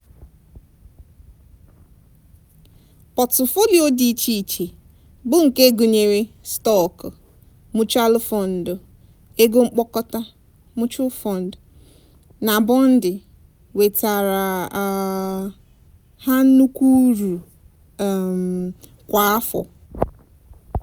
pọtụfoliyo dị iche iche bụ nke gụnyere stọọkụ muchualụ fọndụ/ego mkpokọta (mutual fund) na bọndị wetaara um ha nnukwu uru um kwa afọ.